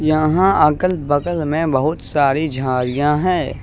यहां अगल बगल में बहुत सारी झाड़ियां हैं।